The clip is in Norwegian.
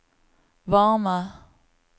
varme